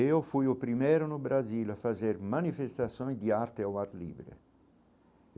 E eu fui o primeiro no Brasil a fazer manifestações de arte ao ar livre.